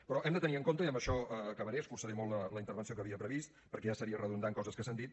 però hem de tenir en compte i amb això acabaré escurçaré molt la intervenció que havia previst perquè ja seria redundar en coses que s’han dit